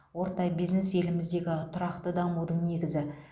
орта бизнес еліміздің тұрақты дамудың негізі